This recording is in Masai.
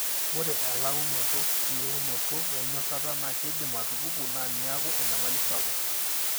ore elaunoto eyiounoto e enyorata na keidim atupuku na niaku enyamali sapuk.